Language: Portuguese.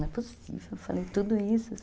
Não é possível, eu falei tudo isso.